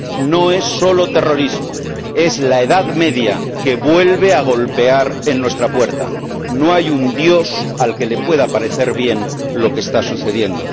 no es solo terrorismo es la Edad Media que vuelve a golpear en nuestra puerta. No hay un dios al que le pueda parecer bien lo que está sucediendo.